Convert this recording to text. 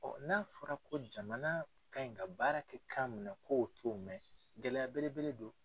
n'a fɔra ko jamana ka ɲi ka baara kɛ kan min na k'o to mɛn gɛlɛya belebele don